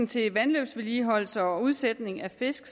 til vandløbsvedligeholdelse og udsætning af fisk